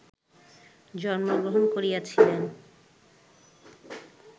জন্মগ্রহণ করিয়াছিলেন